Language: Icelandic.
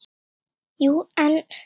Jú, en